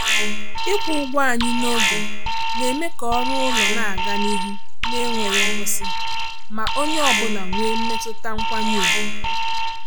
Ịkwụ ụgwọ anyị n’oge na-eme ka ọrụ ụlọ na-aga n’ihu na-enweghị nkwụsị ma onye ọ bụla nwee mmetụta nkwanye ùgwù.